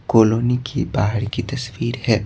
Colony की बाहर की तस्वीर है।